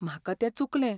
म्हाका तें चुकलें.